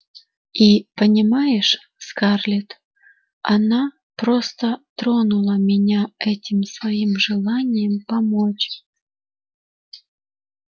и понимаешь скарлетт она просто тронула меня этим своим желанием помочь